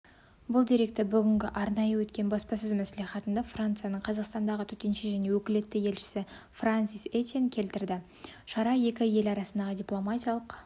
бұл деректі бүгін арнайы өткен баспасөз мәслихатында францияның қазақстандағы төтенше және өкілетті елшісі франсис етьен келтірді шара екі ел арасындағы дипломатиялық